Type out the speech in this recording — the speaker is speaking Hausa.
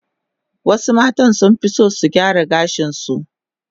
Wasu matan sunfi son su gyara gashin su